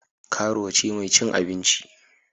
Karuwa ce mai cin abinci.